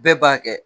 Bɛɛ b'a kɛ